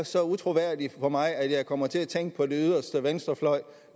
så utroværdigt på mig at jeg kommer til at tænke på den yderste venstrefløj